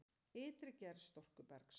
Ytri gerð storkubergs